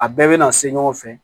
A bɛɛ bɛ na se ɲɔgɔn fɛ